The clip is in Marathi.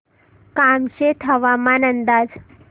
कामशेत हवामान अंदाज